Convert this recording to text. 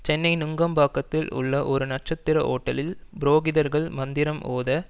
சென்னை நுங்கம்பாக்கத்தில் உள்ள ஒரு நட்சத்திர ஓட்டலில் புரோகிதர்கள் மந்திரம் ஓத